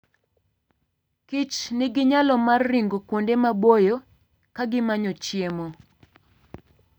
kich nigi nyalo mar ringo kuonde maboyo ka gimanyo chiemo.